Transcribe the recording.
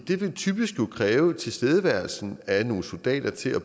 det vil typisk kræve tilstedeværelsen af nogle soldater til at